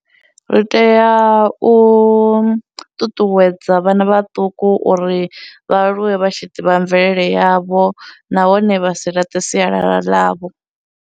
Ri teya u ṱuṱuwedza vhana vhaṱuku uri vha aluwe vha tshi ḓivha mvelele yavho nahone vha si laṱe sialala ḽavho.